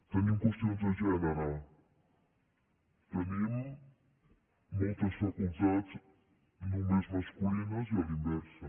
tenim qüestions de gènere tenim moltes facultats només masculines i a la inversa